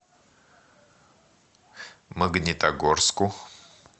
магнитогорску